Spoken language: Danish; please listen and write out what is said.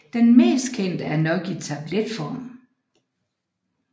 Den mest kendte er nok i tabletform